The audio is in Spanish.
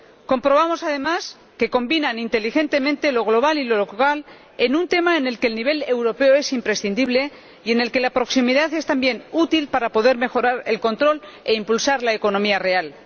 Comprobamos, además, que combinan, inteligentemente, lo global y lo local, en un tema en el que el nivel europeo es imprescindible y en el que la proximidad es también útil para poder mejorar el control e impulsar la economía real.